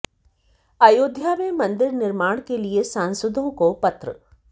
अयोध्या में मंदिर निर्माण के लिए सांसदों को पत्र